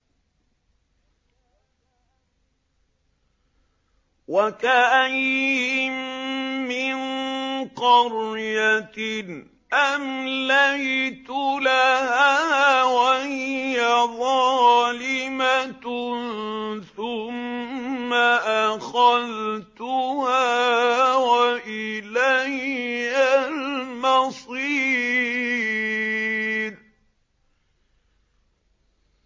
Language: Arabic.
وَكَأَيِّن مِّن قَرْيَةٍ أَمْلَيْتُ لَهَا وَهِيَ ظَالِمَةٌ ثُمَّ أَخَذْتُهَا وَإِلَيَّ الْمَصِيرُ